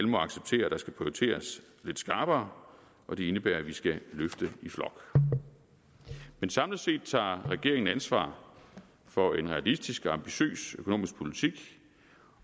må acceptere at der skal prioriteres lidt skarpere og det indebærer at vi skal løfte i flok men samlet set tager regeringen ansvar for en realistisk og ambitiøs økonomisk politik